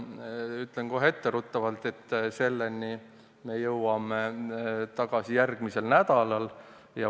Ütlen kohe etteruttavalt, et selleni me jõuame järgmisel nädalal.